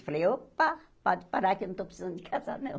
Eu falei, opa, pode parar que eu não estou precisando de casar, não.